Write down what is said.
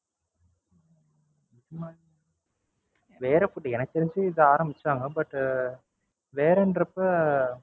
வேற Food எனக்குத் தெரிஞ்சு இத ஆரம்பிச்சாங்க But அஹ் வேறன்ரிப்ப